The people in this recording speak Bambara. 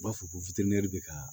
U b'a fɔ ko bɛ ka